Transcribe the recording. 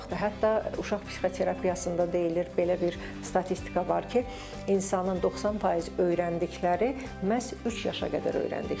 Hətta uşaq psixoterapiyasında deyilir, belə bir statistika var ki, insanın 90% öyrəndikləri məhz üç yaşa qədər öyrəndikləridir.